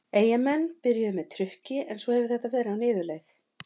Eyjamenn byrjuðu með trukki en svo hefur þetta verið á niðurleið.